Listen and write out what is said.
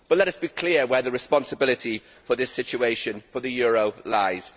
But let us be clear where the responsibility for this situation for the euro lies.